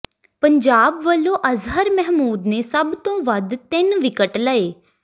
ਪੰਜਾਬ ਵਲੋਂ ਅਜ਼ਹਰ ਮਹਿਮੂਦ ਨੇ ਸਭ ਤੋਂ ਵੱਧ ਤਿੰਨ ਵਿਕਟ ਲਏ